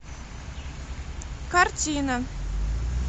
картина